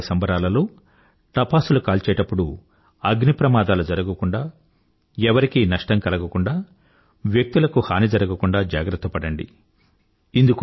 దీపావళి సంబరాలలో టపాసులు కాల్చేప్పుడు అగ్ని ప్రమాదాలు జరగకుండా ఎవరికీ నష్టం కలగకుండా వ్యక్తులకు హాని జరగకుండా జాగ్రత్త పడండి